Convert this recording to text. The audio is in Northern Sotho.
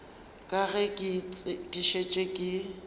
ka ge ke šetše ke